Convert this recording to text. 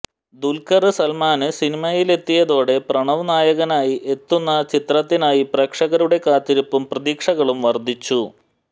ദുല്ഖര് സല്മാന് സിനിമയിലെത്തിയതോടെ പ്രണവ് നായകനായി എത്തുന്ന ചിത്രത്തിനായി പ്രേക്ഷകരുടെ കാത്തിരിപ്പും പ്രതീക്ഷകളും വര്ദ്ധിച്ചു